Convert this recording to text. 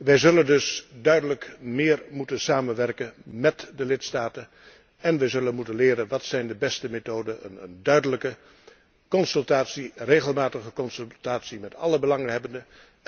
Wij zullen dus duidelijk meer moeten samenwerken met de lidstaten en we zullen moeten leren wat de beste methoden zijn. Een duidelijke consultatie, regelmatige consultatie met alle belanghebbenden.